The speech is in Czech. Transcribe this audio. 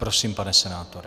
Prosím, pane senátore.